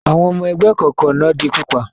Àwọn ọmọ ẹgbẹ́ ìkọ̀kọ̀ náà di pípa?